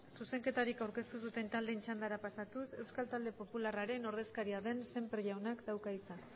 zuzenketarik aurkeztu ez duten taldeen txandara pasatuz euskal talde popularraren ordezkaria den sémper jaunak dauka hitza